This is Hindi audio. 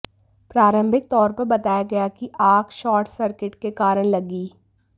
प्रारंभिक तौर पर बताया गया कि आग शॉर्ट सर्किट के कारण लगी